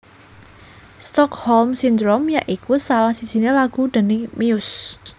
Stockholm Syndrome ya iku salah sijine lagu déning Muse